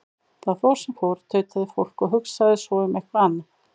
Það fór sem fór, tautaði fólk, og hugsaði svo um eitthvað annað.